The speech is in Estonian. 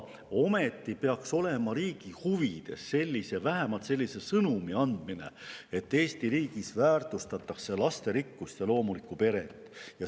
Ometi peaks olema riigi huvides anda vähemalt selline sõnum, et Eesti riigis väärtustatakse lasterikkust ja loomulikku peret.